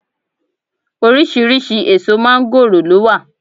Oríṣiriṣi èso máńgòrò ló wà